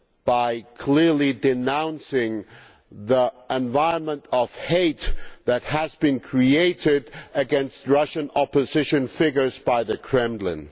by clearly denouncing the environment of hate that has been created against Russian opposition figures by the Kremlin?